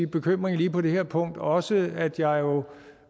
bekymring lige på det her punkt også at jeg jo